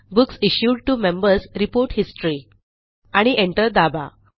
books issued T O MembersReport history आणि enter दाबा